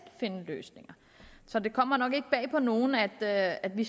finde løsninger så det kommer nok ikke bag på nogen at at vi